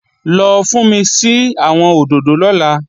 Lọ fúnmi sí àwọn òdòdó lọ́la!